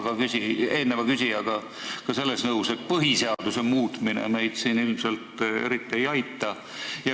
Ma olen eelneva küsijaga nõus selles, et põhiseaduse muutmine meid siin ilmselt eriti ei aita.